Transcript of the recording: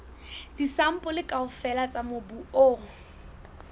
disampole kaofela tsa mobu o